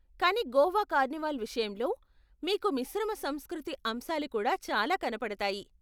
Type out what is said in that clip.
కానీ గోవా కార్నివాల్ విషయంలో, మీకు మిశ్రమ సంస్కృతి అంశాలు కూడా చాలా కనపడతాయి.